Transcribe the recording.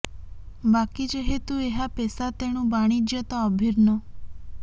ବାକି ଯେହେତୁ ଏହା ପେଶା ତେଣୁ ବାଣିଜ୍ୟ ତ ଅଭିନ୍ନ